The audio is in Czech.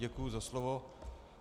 Děkuji za slovo.